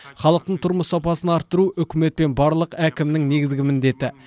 халықтың тұрмыс сапасын арттыру үкімет пен барлық әкімнің негізгі міндеті